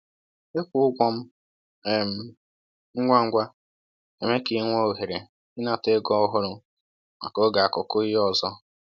Ịkwụ ụgwọ um ngwa ngwa na-eme ka i nwee ohere ịnata ego ọhụrụ maka oge akụkụ ihe ọzọ.